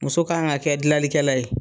Muso kan ka kɛ gilanikɛla ye.